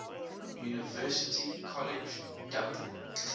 university college dublin